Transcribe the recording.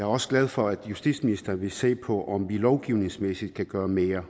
også glad for at justitsministeren vil se på om vi lovgivningsmæssigt kan gøre mere